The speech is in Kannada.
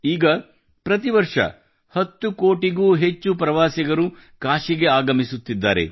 ಈಗ ಪ್ರತಿ ವರ್ಷ 10 ಕೋಟಿಗೂ ಹೆಚ್ಚು ಪ್ರವಾಸಿಗರು ಕಾಶಿಗೆ ಆಗಮಿಸುತ್ತಿದ್ದಾರೆ